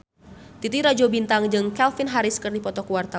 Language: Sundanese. Titi Rajo Bintang jeung Calvin Harris keur dipoto ku wartawan